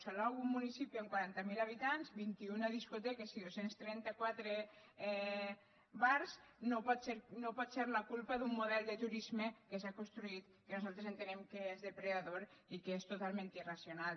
salou un municipi amb quaranta miler habitants vint un discoteques i dos cents i trenta quatre bars no pot ser la culpa d’un model de turisme que s’ha construït que nosaltres entenem que és depredador i que és totalment irracional